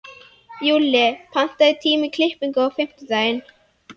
Júlli, pantaðu tíma í klippingu á fimmtudaginn.